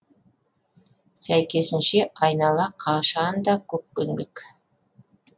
сәйкесінше айнала қашан да көкпеңбек